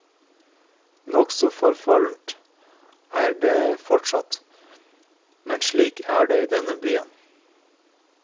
Nokså forfallent er det fortsatt, men slik er det i denne byen.